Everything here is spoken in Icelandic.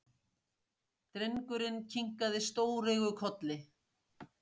Drengurinn kinkaði stóreygur kolli.